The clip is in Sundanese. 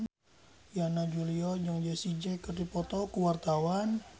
Yana Julio jeung Jessie J keur dipoto ku wartawan